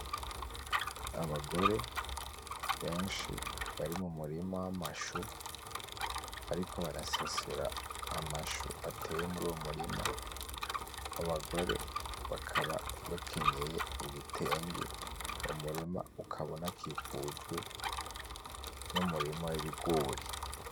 Abagore benshi bari mumurima w'amashu, bariko barasasira amashu ateye muruwo murima abo bagore bakaba bakenyeye ibitenge, uwo murima ukaba unakikujwe n'amurima w'Ibigori.